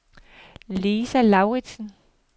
Lisa Lauritsen